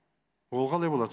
оған не болады